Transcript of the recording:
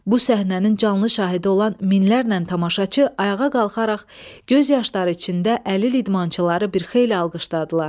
Bu səhnənin canlı şahidi olan minlərlə tamaşaçı ayağa qalxaraq göz yaşları içində əlil idmançıları bir xeyli alqışladılar.